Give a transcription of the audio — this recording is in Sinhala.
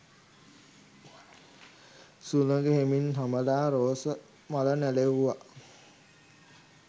සුළඟ හෙමින් හමලා රෝස මල නැළෙව්වා.